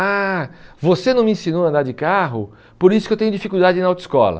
Ah, você não me ensinou a andar de carro, por isso que eu tenho dificuldade na autoescola.